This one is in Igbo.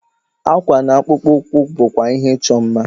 Akwa na akpụkpọ ụkwụ bụkwa ihe ịchọ mma.